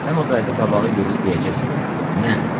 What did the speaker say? Sən o vədə qabağa yeriyib deyəcəksən: nəm?